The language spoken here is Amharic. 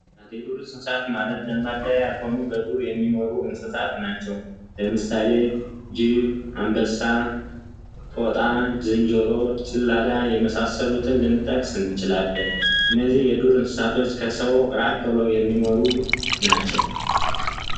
የዱር እንሰሳ ማለት ለማዳ ያልሆኑ በዱር ውስጥ የሚገኙ እንስሳት ናቸው። ለምሳሌ ጅብ፣ አንበሳ ፣ዝንጀሮ ፣ጦጣ ጭላዳ የመሳሰሉትን ልንጠቅስ እንችላለን። እነዚህ የዱር እንስሳቶች ከሰው ልጅ ራቅ በለው የሚኖሩ ናቸው።